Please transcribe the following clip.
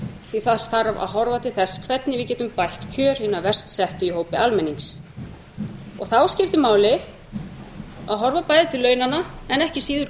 því að það þarf að horfa til þess hvernig við getum bætt kjör hinna verst settu í hópi almennings og þá skiptir máli að horfa bæði til launanna en ekki síður